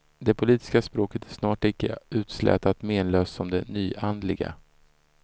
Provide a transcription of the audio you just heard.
Det politiska språket är snart lika utslätat menlöst som det nyandliga.